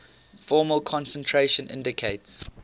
formal concentration indicates